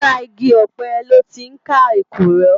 Làrá igi òpè lòtí n ká ékúrò